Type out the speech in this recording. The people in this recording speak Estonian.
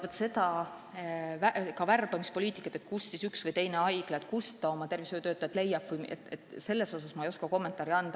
Vaat seda värbamispoliitikat, kuidas üks või teine haigla tervishoiutöötajaid leiab, ma ei oska kommenteerida.